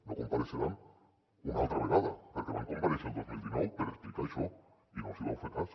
no compareixeran una altra vegada perquè van comparèixer el dos mil dinou per explicar això i no els hi vau fer cas